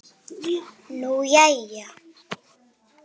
Nú, jæja.